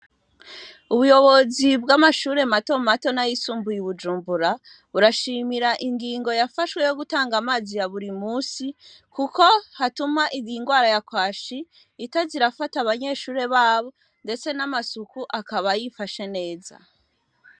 Ubuyobozi bw'amashure mato mato na yisumbuye i bujumbura urashimira ingingo yafashwe yo gutanga amazi iya buri musi, kuko hatuma indingwara yakwashi itazirafata abanyeshure babo, ndetse n'amasuku akaba yifashe neza.